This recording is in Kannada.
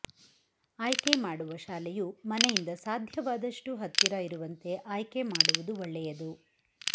ಆಯ್ಕೆ ಮಾಡುವ ಶಾಲೆಯು ಮನೆಯಿಂದ ಸಾಧ್ಯವಾದಷ್ಟು ಹತ್ತಿರ ಇರುವಂತೆ ಆಯ್ಕೆ ಮಾಡುವುದು ಒಳ್ಳೆಯದು